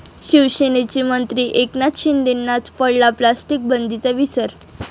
शिवसेनेचे मंत्री एकनाथ शिंदेंनाच पडला प्लास्टिक बंदीचा विसर!